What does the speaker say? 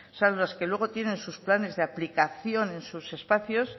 son los que luego tienen sus planes de aplicación en sus espacios